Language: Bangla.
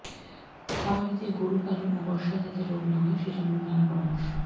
খামারিদের গরু পালন ও বর্ষায় যাতে রোগ না হয় সে জন্য নানা পরামর্শ